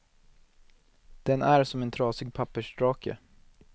Den är som en trasig pappersdrake.